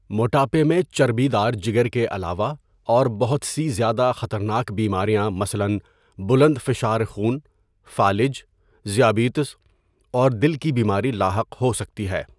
موٹاپے میں چربی دار جگر کے علاوه اور بهت سي زياده خطرناک بيمارياں مثلاً بلند فشار خون، فالج، ذيابيطس اور دل كي بيماری لاحق ہو سکتی ہے.